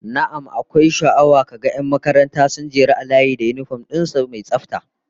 Na'am, akwai sha'awa ka ga 'yan makaranta sun jeru a layi da yinifom din su mai tsafta